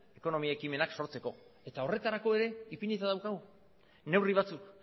ekonomia ekimenak sortzeko eta horretarako ere ipinita daukagu neurri batzuk